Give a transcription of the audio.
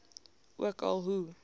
ook al hoe